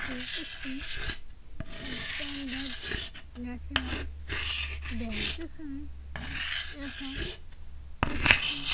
এটা একটি Punjab national bank এখানে দেখা যাচ্ছে ।